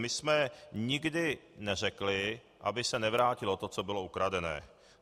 My jsme nikdy neřekli, aby se nevrátilo to, co bylo ukradené.